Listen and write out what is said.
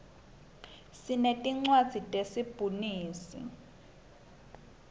sinetinlwadzi te sibhunsi